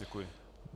Děkuji.